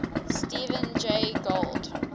stephen jay gould